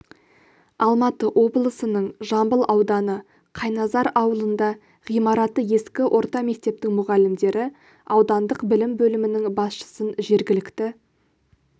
алматы облысының жамбыл ауданы қайназар ауылында ғимараты ескі орта мектептің мұғалімдері аудандық білім бөлімінің басшысын жергілікті